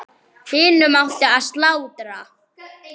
Hinum átti að slátra.